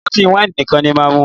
Ọtí wáìnì nìkan ni máà mú.